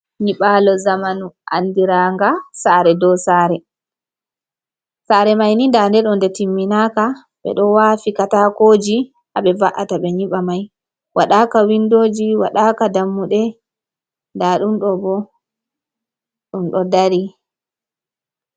Nyibalo jamanu andira nga sare dow sare sare maini danɗe ɗo ɗe timminai ka ɓe ɗo wafi katakoji haɓe va’ata ɓe nyiba mai wadaka windoji wadaka dammuɗe ɗa ɗum ɗo ɓo ɗum do dari.